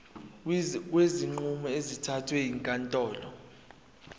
kwezinqumo ezithathwe ezinkantolo